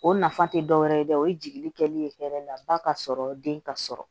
O nafa tɛ dɔ wɛrɛ ye dɛ o ye jigili kɛlen ye ba ka sɔrɔ den ka sɔrɔ